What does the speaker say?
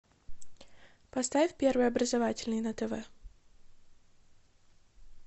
поставь первый образовательный на тв